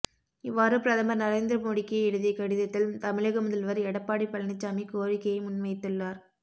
இவ்வாறுபிரதமர் நரேந்திர மோடிக்கு எழுதிய கடிதத்தில் தமிழக முதல்வர் எடப்பாடி பழனிசாமி கோரிக்கையை முன்வைத்துள்ளார்